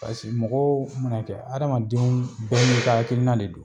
mɔgɔw mana kɛ hadamadenw bɛɛ n'i ka hakilina de don